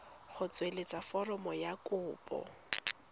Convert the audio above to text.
go tsweletsa foromo ya kopo